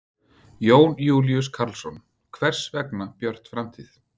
Jón Júlíus Karlsson: Hvers vegna Björt framtíð?